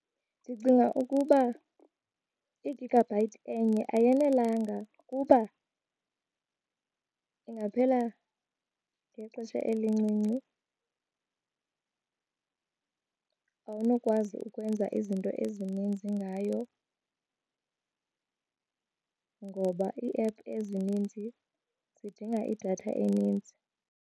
Ndicinga ukuba i-gigabyte enye ayanelanga kuba ingaphela ngexesha elincinci, awunokwazi ukwenza izinto ezininzi ngayo ngoba iiephu ezininzi zidinga idatha eninzi.